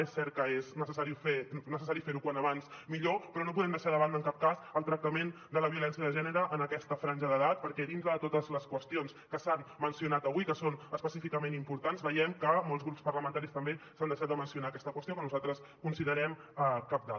és cert que és necessari fer ho com més aviat millor però no podem deixar de banda en cap cas el tractament de la violència de gènere en aquesta franja d’edat perquè dintre de totes les qüestions que s’han mencionat avui que són específicament importants veiem que molts grups parlamentaris també s’han deixat de mencionar aquesta qüestió que nosaltres considerem cabdal